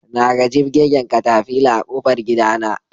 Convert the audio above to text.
Naga jibgegen katafila a ƙofar gidana